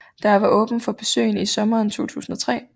Der var åbent for besøgende i sommeren 2003